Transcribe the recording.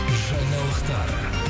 жаңалықтар